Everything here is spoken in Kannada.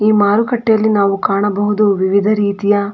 ಈ ಮಾರುಕಟ್ಟೆಯಲ್ಲಿ ನಾವು ಕಾಣಬಹುದು ವಿವಿಧ ರೀತಿಯ --